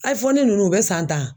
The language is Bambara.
ninnu bɛ san tan